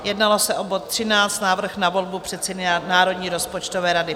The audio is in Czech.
Jednalo se o bod 13, Návrh na volbu předsedy Národní rozpočtové rady.